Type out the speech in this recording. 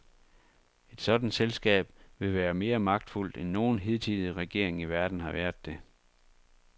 Et sådant selskab vil være mere magtfuldt end nogen hidtidig regering i verden har været det.